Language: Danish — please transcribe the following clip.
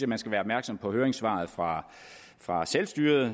man skal være opmærksom på høringssvaret fra fra selvstyret